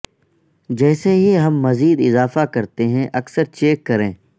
جیسے ہی ہم مزید اضافہ کرتے ہیں اکثر چیک کریں